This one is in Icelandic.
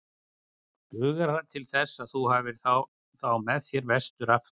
Dugar það til þess að þú hafir þá með þér vestur aftur?